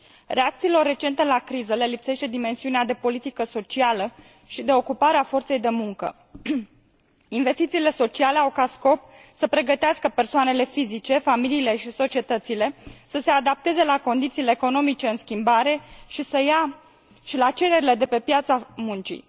Reacțiilor recente la criză le lipsește dimensiunea de politică socială și de ocupare a forței de muncă. Investițiile sociale au ca scop să pregătească persoanele fizice, familiile și societățile să se adapteze la condițiile economice în schimbare și la cererile de pe piața muncii.